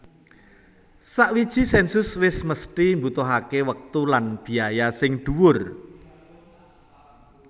Sawiji sènsus wis mesthi mbutuhaké wektu lan biaya sing dhuwur